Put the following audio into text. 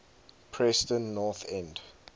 preston north end